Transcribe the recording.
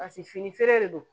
Paseke fini feere de don